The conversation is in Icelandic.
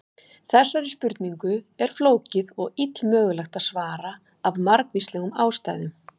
Þessari spurningu er flókið og illmögulegt að svara af margvíslegum ástæðum.